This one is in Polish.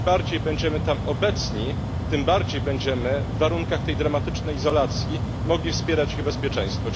Im bardziej będziemy tam obecni, tym bardziej będziemy w warunkach tej dramatycznej izolacji mogli wspierać ich bezpieczeństwo.